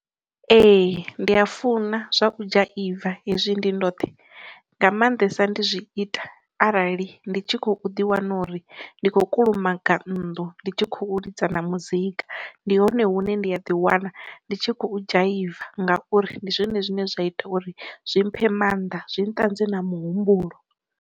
Ee ndi a funa zwa u dzhaiva hezwi ndi ndoṱhe, nga maanḓesa ndi zwi ita arali ndi tshi khou ḓi wana uri ndi khou kulumaga nnḓu ndi tshi khou ḽidza na muzika ndi hone hune ndi a ḓi wana ndi tshi khou dzhaiva ngauri ndi zwone zwine zwa ita uri zwi mphe maanḓa, zwi ntakadzi na muhumbulo.